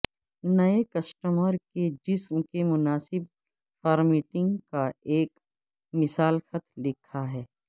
نئے کسٹمر کے جسم کے مناسب فارمیٹنگ کا ایک مثال خط لکھا ہے